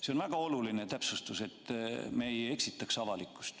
See on väga oluline täpsustus, et me ei eksitaks avalikkust.